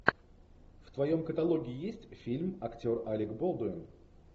в твоем каталоге есть фильм актер алек болдуин